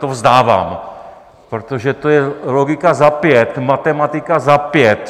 To vzdávám, protože to je logika za pět, matematika za pět.